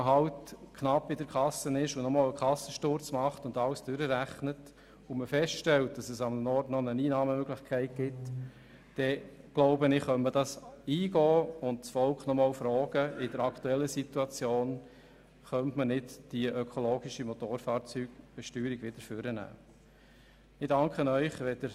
Wenn man knapp bei Kasse ist, einen Kassensturz macht, alles durchrechnet und feststellt, dass irgendwo noch eine Einnahmemöglichkeit besteht, dann kann man das meines Erachtens eingehen und das Volk in der aktuellen Situation noch einmal fragen, ob man die ökologische Motorfahrzeugsteuer wieder hervornehmen kann.